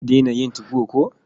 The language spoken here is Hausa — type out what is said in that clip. Za ki daina yin 2go ko?